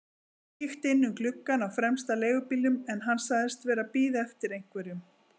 Kíkti inn um gluggann á fremsta leigubílnum en hann sagðist vera að bíða eftir einhverjum.